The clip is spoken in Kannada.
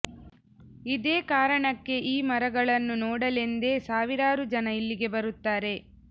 ಇದೇ ಕಾರಣಕ್ಕೆ ಈ ಮರಗಳನ್ನು ನೋಡಲೆಂದೇ ಸಾವಿರಾರು ಜನ ಇಲ್ಲಿಗೆ ಬರುತ್ತಾರೆ